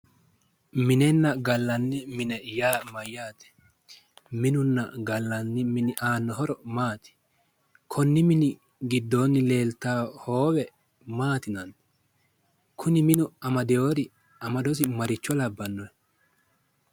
Mininna gallanni mine yaa mayyaate? Minunna gallanni mini aanno horo maati? Konni mini giddoonni leeltanno hoowe maati yinanni? Kuni minu amadiwori amadosi maa labbanno?